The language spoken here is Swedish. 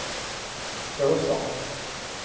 Åsarna